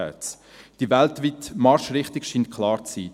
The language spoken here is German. Die weltweite Marschrichtung scheint klar zu sein: